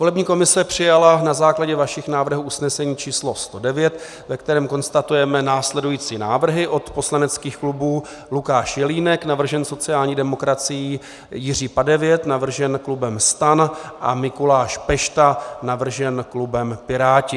Volební komise přijala na základě vašich návrhů usnesení číslo 109, ve kterém konstatujeme následující návrhy od poslaneckých klubů: Lukáš Jelínek, navržen sociální demokracií, Jiří Padevět, navržen klubem STAN, a Mikuláš Pešta, navržen klubem Piráti.